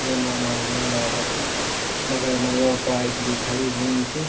जंगल मां हर्या डाला छिं बगल मा योक बाइक भी खड़ीं हुईं च।